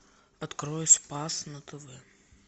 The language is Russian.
открой спас на тв